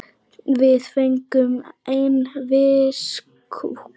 Við fengum einn fisk hvor.